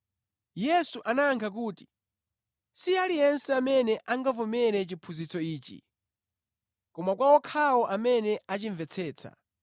Yesu anayankha kuti, “Si aliyense amene angavomere chiphunzitso ichi, koma kwa okhawo amene achimvetsetsa.